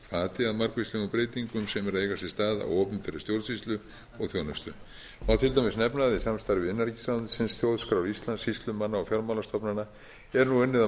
að margvíslegum breytingum sem eru að eiga sér stað á opinberri stjórnsýslu og þjónustu má til dæmis nefna að í samstarfi innanríkisráðuneytisins þjóðskrár íslands sýslumanna og fjármálastofnana er nú unnið að